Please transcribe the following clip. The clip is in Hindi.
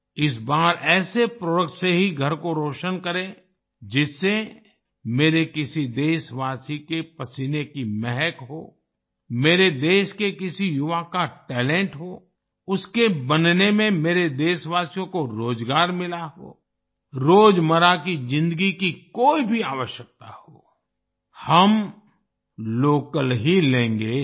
इस बार ऐसे प्रोडक्ट से ही घर को रोशन करें जिसमें मेरे किसी देशवासी के पसीने की महक हो मेरे देश के किसी युवा का टैलेंट हो उसके बनने में मेरे देशवासियों को रोज़गार मिला हो रोज़मर्रा की जिन्दगी की कोई भी आवश्यकता हो हम लोकल ही लेंगे